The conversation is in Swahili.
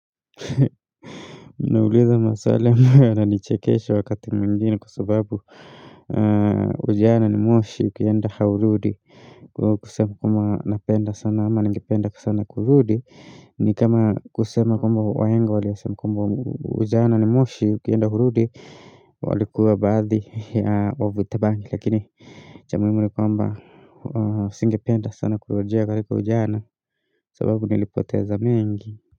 Mnauliza maswali ambayo yananichekesha wakati mwingine kwa sababu Ujana ni moshi ukienda hurudi Kwa hio kusema kama napenda sana ama nangipenda sana kurudi ni kama kusema kwamba wahenga waliyosema kwambwa ujana ni moshi ukienda hurudi walikuwa baadhi ya wavutabangi lakini cha muhimu ni kwamba singipenda sana kurejea kwa ujana sababu nilipoteza mingi.